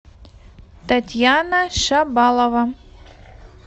татьяна шабалова